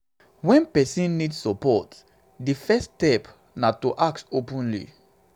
when person need support di first step na to ask openly